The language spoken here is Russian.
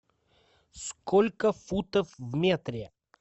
сколько футов в метре